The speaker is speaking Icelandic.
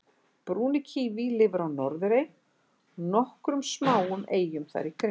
brúni kíví lifir á norðurey og nokkrum smáum eyjum þar í kring